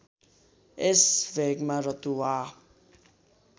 यस भेगमा रतुवा